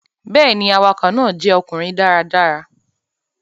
Bẹ́ẹ̀ ni, awakọ̀ náà jẹ́ ọkùnrin dáradára.